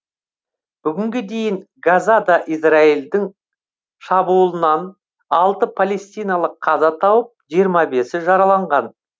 бүгінге дейін газада израильдің шабуылынан алты палестиналық қаза тауып жиырма бесі жараланған